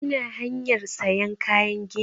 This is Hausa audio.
Ina hanyar sayan kayan gini